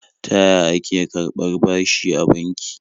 Ta ya ake karɓar bashi a banki?